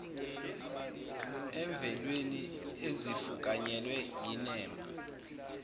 emvelweni ezifukanyelwe yinema